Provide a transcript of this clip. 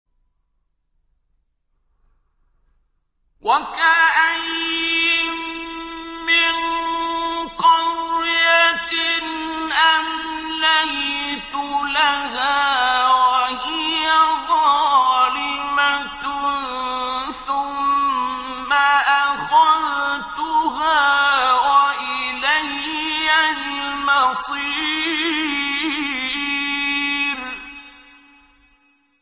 وَكَأَيِّن مِّن قَرْيَةٍ أَمْلَيْتُ لَهَا وَهِيَ ظَالِمَةٌ ثُمَّ أَخَذْتُهَا وَإِلَيَّ الْمَصِيرُ